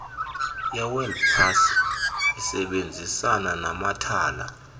yewebpals isebenzisana namathala